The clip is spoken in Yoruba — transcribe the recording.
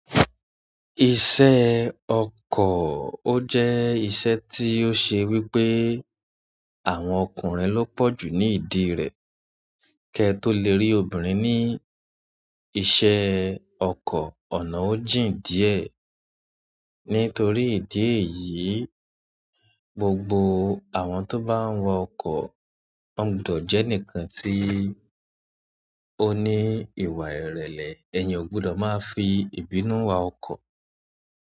Iṣẹ́ ọkọ̀ ó jẹ́ iṣẹ́ tí ó ṣe wípé àwọn ọkùnrin ló pọ̀jù ní ìdí rẹ̀ kẹ tó le rí obìnrin ní iṣẹ́ ọkọ̀ ọ̀nà o jín díẹ̀. Nítorí ìdí èyí, gbogbo àwọn tó bá ń wa ọkọ̀ wọn gbudọ̀ jẹ́ ẹnìkan tí ó ní ìwà ìrẹ̀lẹ̀. Ẹ̀yan ò gbudọ̀ máa fi ìbínú wa ọkọ̀.